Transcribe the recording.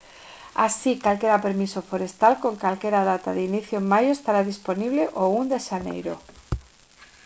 así calquera permiso forestal con calquera data de inicio en maio estará dispoñible o 1 de xaneiro